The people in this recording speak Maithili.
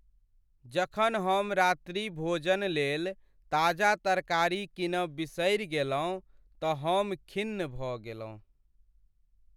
जखन हम रात्रि भोजनलेल ताजा तरकारी कीनब बिसरि गेलहुँ त हम खिन्न भ गेलहुँ।